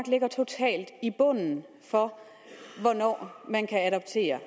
ligger totalt i bunden for hvornår man kan adoptere